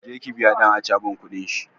Je ki biya ɗan acaban kudin shi!